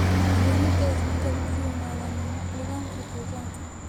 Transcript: Keenida isbedel ku yimaada nidaamka deegaanka.